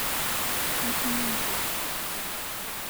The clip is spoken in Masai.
eshunye nkuk